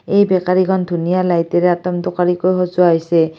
এই বেকাৰিখন ধুনীয়া লাইটেৰে অতোম-তোকাৰিকৈ সজোৱা হৈছে।